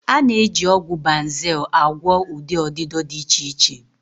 A na-eji ọgwụ Banzel agwọ ụdị ọdịdọ dị iche iche.